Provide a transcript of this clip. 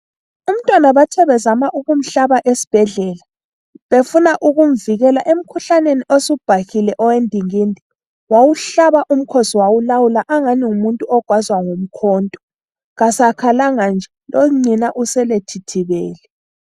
Umntwana bathe bezama ukumhlaba esibhedlela befuna ukumvikela emkhuhlaneni osubhahile owendingindi wawuhlaba umkhosi wawulawula angani ngumuntu ogwazwa ngomkhonto. Kasakhalanga nje lonina usele ethithibele.